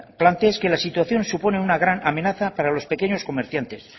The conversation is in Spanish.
planteáis que la situación supone una gran amenaza para los pequeños comerciantes